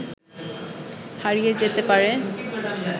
হারিয়ে যেতে পারে